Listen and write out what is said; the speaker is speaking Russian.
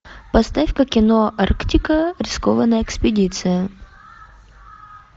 поставь ка кино арктика рискованная экспедиция